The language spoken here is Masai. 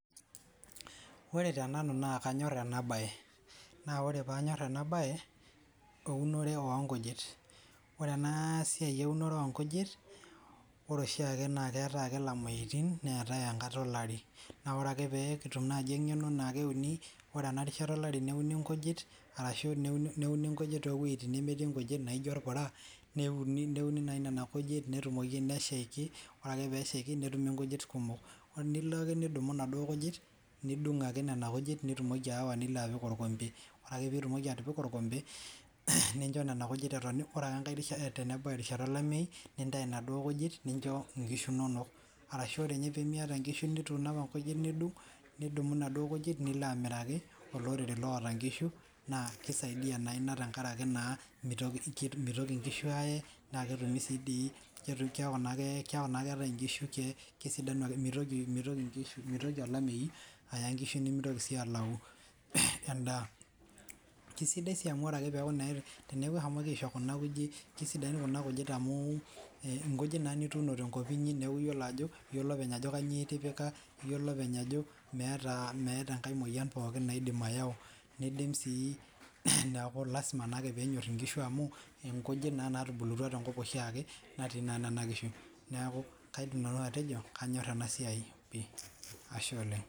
Oree tenanu naa kanyorr ena baye naa ore paanyorr ena baye eunore oonkujit ore ena siai eunoree oo nkujit ore oshiu ake naa keetae ilamoitin neetae enkata olari naa oree ake peitum naji eng'eno eneiko peeuni oree ena rishata olari neuni inkujit arashuu neuni inkujit too weitin nemeeti inkujit naijo orpura neuni nayii nena kujit netumoiki neshaiki ore ake peeshaiki netumi inkujit kumok nilo ake nidumu inaduoo kujit niding' ake nena kujit nitumoki ayawa nilo apik orkompe ore ake piitumoki atipika orkompe nincho nena kujit etoyu paa tenebau erishata olameyu nintayu inaduoo kujit nincho inkishu inonok arashu oree nye tenimiata inkishu nituuno apa inkujit nidung' nidumu inaduo kujit nilo amiraki olorere laata inkishu naa keisaidia naa ina tenkaraki naa meitoki inkishu ayee naa ketumi sii dii keeku naa ake ketae inkishu kesisanu meitoki olameyu aya inkishu nemeitoki sii aaku endaa kesidai sii amu oree akee peeku naa teneeku eshomoki aisho kuna kujit kesidain inkujit amuu inkujit naa nituuno tenkop neeku iyiolo ajo iyolo openly ajo kanyioo itipika iyolo openy ajo meeta enkae moyian pooki naidim ayau neidim sii neeku lasima naa ake pinyorr inkishu amuu inkujit naa naatubulutua tenkop oshii ake najii naa nena kishu neeku kaidim nanu atejo kanyor ena siai pii, Ashe oleng'.